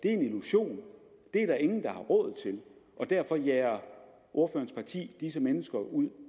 er en illusion det er der ingen der har råd til og derfor jager ordførerens parti disse mennesker ud